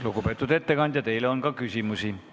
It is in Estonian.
Lugupeetud ettekandja, teile on ka küsimusi.